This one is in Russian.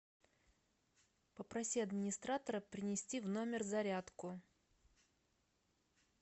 попроси администратора принести в номер зарядку